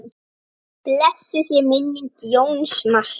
Blessuð sé minning Jóns Mars.